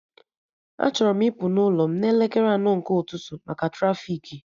Achọrọ m ịpụ ụlọ m n'elekere anọ nke ụtụtụ maka trafiki